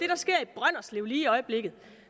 jeg lige i øjeblikket